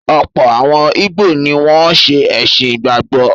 Ọ̀pọ̀ àwọn ìgbò ni wọ́n ṣe “ẹ̀sìn ìgbàgbọ́”.